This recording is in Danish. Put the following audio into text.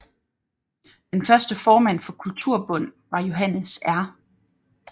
Den første formand for Kulturbund var Johannes R